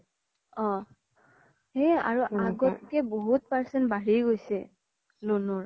অ আৰু আগ্ত্কে বহুত percent বাঢ়ি গৈছে loan ৰ